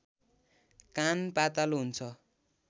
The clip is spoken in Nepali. कान पातलो हुन्छ